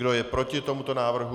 Kdo je proti tomuto návrhu?